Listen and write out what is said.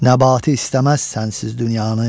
Nəbati istəməz sənsiz dünyanı.